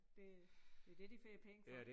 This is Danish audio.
Det det det de får penge for